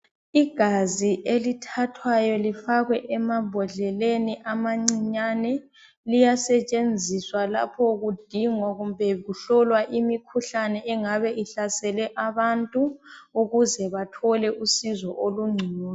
Igazi elithathwayo lifakwe emambodleleni amancinyane, liyasetshenziswa lapho kudingwa kumbe kuhlolwa imikhuhlane engabe ihlasele abantu ukuze bathole usizo olungcono.